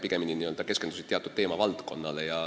Pigemini hakati keskenduma teatud teemavaldkondadele.